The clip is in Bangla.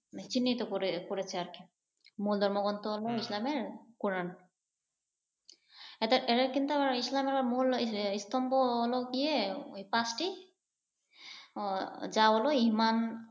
চিহ্নিত করেছে করেছে আর কি। মূল ধর্মগ্রন্থ হলো ইসলামের কুরআন। আবার এরা কিন্তু ইসলামের মূল স্তম্ভ লহো গিয়ে পাঁচটি। আহ যা হলো ঈমান